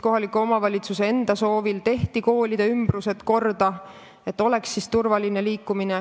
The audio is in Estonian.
Kohaliku omavalitsuse enda soovil tehti korda koolide ümbrus, et seal oleks turvaline liikuda.